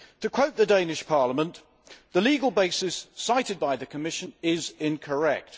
To quote the Danish Parliament, the legal basis cited by the Commission is incorrect.